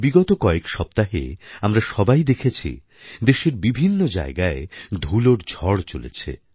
বিগত কয়েক সপ্তাহে আমরা সবাই দেখেছি দেশের বিভিন্ন জায়গায় ধুলোর ঝড় চলেছে